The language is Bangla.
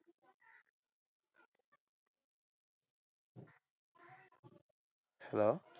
Hello?